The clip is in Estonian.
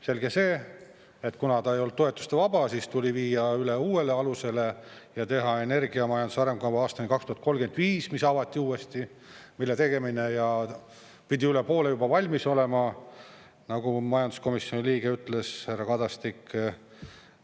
Selge see, et kuna ta ei olnud toetuste vaba, siis tuli viia üle uuele alusele ja teha energiamajanduse arengukava aastani 2035, mis avati uuesti, mille tegemine ja pidi üle poole juba valmis olema, nagu majanduskomisjoni liige ütles, härra Kadastik.